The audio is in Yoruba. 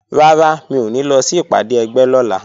Rárá, mi ò ní lọ sí ìpàdé ẹgbẹ́ lọ́la